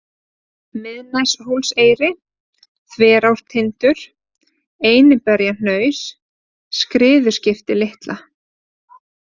Miðneshólseyri, Þverártindur, Einiberjahnaus, Skriðuskipti litla